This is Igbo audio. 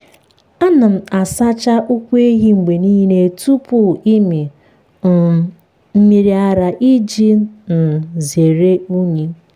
m na-asacha ụkwụ ehi mgbe niile tupu ịmị um mmiri ara iji um zere unyi.